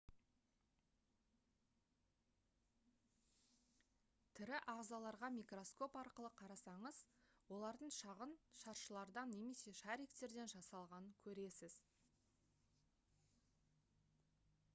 тірі ағзаларға микроскоп арқылы қарасаңыз олардың шағын шаршылардан немесе шариктерден жасалғанын көресіз